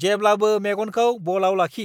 जेब्लाबो मेगनखौ बलआव लाखि!